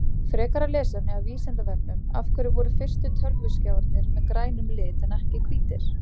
Frekara lesefni af Vísindavefnum Af hverju voru fyrstu tölvuskjáirnir með grænum lit en ekki hvítir?